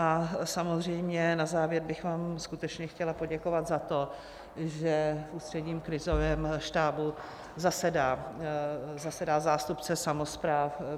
A samozřejmě na závěr bych vám skutečně chtěla poděkovat za to, že v Ústředním krizovém štábu zasedá zástupce samospráv.